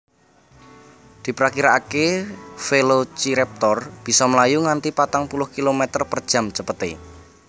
Diprakiraakè Velociraptor bisa mlayu nganti patang puluh kilometer per jam cepetè